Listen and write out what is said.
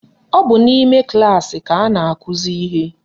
Ọ bụ n'ime klaasị ka a na-akụzi ihe